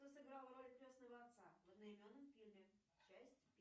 кто сыграл роль крестного отца в одноименном фильме часть